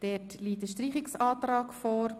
Dort liegt ein Streichungsantrag Grüne vor.